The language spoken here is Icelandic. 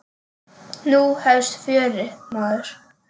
Nú hefst fjörið, maður.